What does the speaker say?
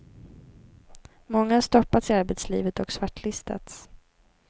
Många har stoppats i arbetslivet och svartlistats.